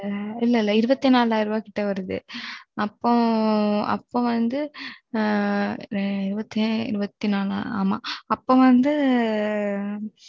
இல்ல இல்ல இருவத்தி நாலாயிர ரூபாய் கிட்ட வருது அப்போ வந்து ஆமா இருவத்தி நாலாயிர ரூபாய் கிட்ட வருது